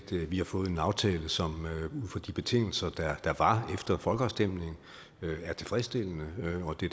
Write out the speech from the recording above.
vi har fået en aftale som ud fra de betingelser der var efter folkeafstemningen er tilfredsstillende og det